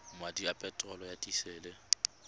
madi a peterolo ya disele